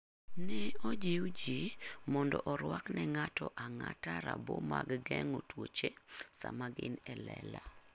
Ne ojiw ji mondo orwakne ng'ato ang'ata rabo mag geng'o tuoche sama gin e lela.